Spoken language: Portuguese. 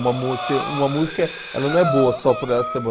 Uma músi uma música não é boa só por ela ser boa.